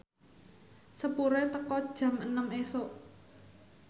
sepure teka jam enem isuk